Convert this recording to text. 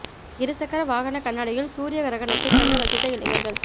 இரு சக்கர வாகன கண்ணாடியில் சூரிய கிரகணத்தை கண்டு ரசித்த இளைஞா்கள்